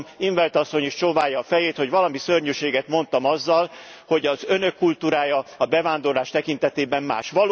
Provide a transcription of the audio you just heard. Látom in 't Veld asszony is csóválja a fejét, hogy valami szörnyűséget mondtam azzal, hogy az Önök kultúrája a bevándorlás tekintetében más.